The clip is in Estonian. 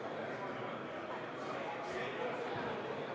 Kadrina vanasõna ütleb, et mis kehvasti, see uuesti.